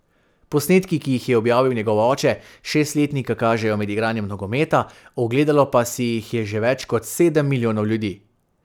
Posnetki, ki jih je objavil njegov oče, šestletnika kažejo med igranjem nogometa, ogledalo pa si jih je že več kot sedem milijonov ljudi.